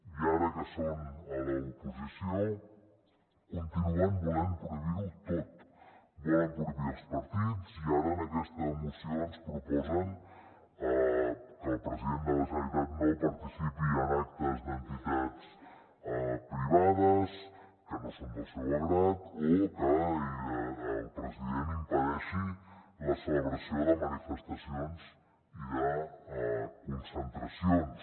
i ara que són a l’oposició continuen volent prohibir ho tot volen prohibir els partits i ara en aquesta moció ens proposen que el president de la generalitat no participi en actes d’entitats privades que no són del seu grat o que el president impedeixi la celebració de manifestacions i de concentracions